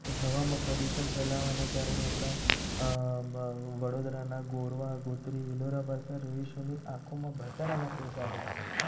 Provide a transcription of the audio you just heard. કે હવામાં પ્રદુષણ ફેલાવાને કારણે આપણા વડોદરા ના ગોરવા ગોત્રી આંખોમાં બળતરા નાખ્યા છે.